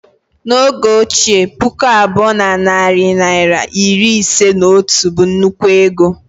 N' oge ochie, puku abụọ na narị naịra iri ise na otu bu nnukwu ego